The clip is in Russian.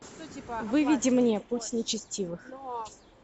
выведи мне путь нечестивых